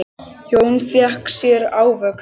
Jón fékk sér ávöxt.